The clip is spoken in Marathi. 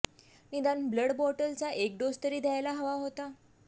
निदान ब्लड बॉटलचा एक डोस तरी घ्यायला हवा होता